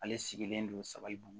Ale sigilen don sabalibugu